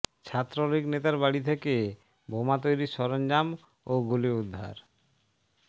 ছাত্রলীগ নেতার বাড়ি থেকে বোমা তৈরির সরঞ্জাম ও গুলি উদ্ধার